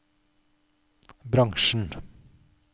bransjen